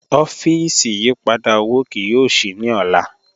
Ọfíísì ìyìpadà owó kìí yóò ṣíí ní ọlá